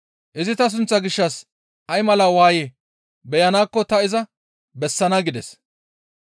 Izi ta sunththaa gishshas ay mala waaye beyanaakko ta iza bessana» gides.